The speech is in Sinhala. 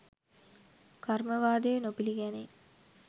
කර්මවාදය නොපිළිගැනේ.